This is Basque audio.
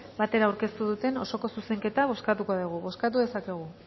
batera aurkeztu duten osoko zuzenketa bozkatuko dugu bozkatu dezakegu